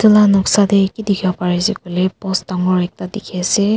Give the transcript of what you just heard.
edu la noksa de ki dikhi bo pare ase koile post dangor ekta dikhiase.